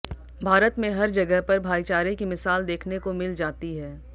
भारत में हर जगह पर भाईचारे की मिसाल देखने को मिल जाती है